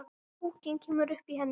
Púkinn kemur upp í henni.